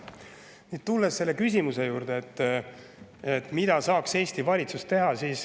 Nüüd tulen selle küsimuse juurde, et mida saaks Eesti valitsus teha.